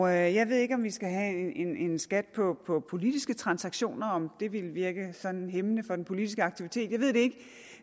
jeg ved ikke om vi skal have en skat på politiske transaktioner og om det ville virke sådan hæmmende for den politiske aktivitet jeg ved det